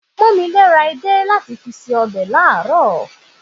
Pọ́nmilé ra edé láti fi se ọbẹ̀ ní àárọ̀